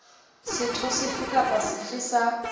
setho sefe kapa sefe sa